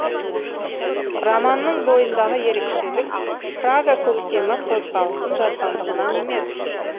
романның бойындағы ерекшелік прага көктемі қозғалысын жазғандығынан емес